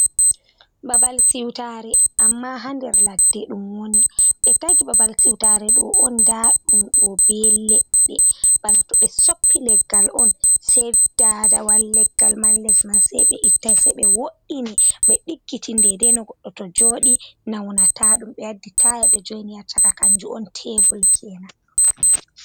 Babal siwtaare, amma haa nder ladde ɗum woni ɓe tayti babal siwtare ɗo on ndaa ɗum ɗo bee leɗɗe bana to ɓe soppi leggal on sey daadawal leggal man les man sey ɓe ittaayi ɗum sey ɓe wo’'ini ɓe ɗiggitini dey-dey no to goɗɗo jooɗi nawnataa-ɗum, ɓe waddi taaya ɓe jo''ini haa saka kannjum on teebul keenan.